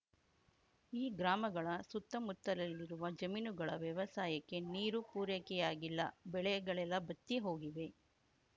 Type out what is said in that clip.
ಈ ಗ್ರಾಮಗಳ ಸುತ್ತಮುತ್ತಲಲ್ಲಿರುವ ಜಮೀನುಗಳ ವ್ಯವಸಾಯಕ್ಕೆ ನೀರು ಪೂರೈಕೆಯಾಗಿಲ್ಲ ಬೆಳೆಗಳೆಲ್ಲ ಬತ್ತಿ ಹೋಗುತ್ತಿವೆ